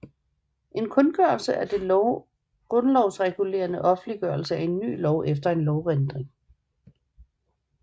En kundgørelse er den grundlovsregulerede offentliggørelse af en ny lov eller en lovændring